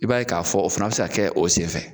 I b'a ye k'a fɔ o fana bɛ se kɛ o senfɛ